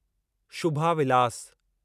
Shubha Vilas